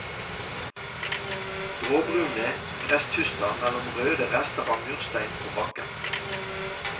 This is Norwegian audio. Gråbrune gresstuster mellom røde rester av murstein på bakken.